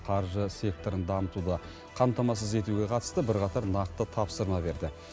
қаржы секторын дамытуды қамтамасыз етуге қатысты бірқатар нақты тапсырма берді